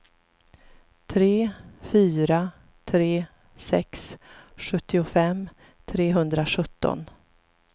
tre fyra tre sex sjuttiofem trehundrasjutton